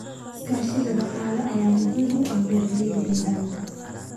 Iskaashiga dhaqaale ayaa muhiim u ah beeralayda deegaanka.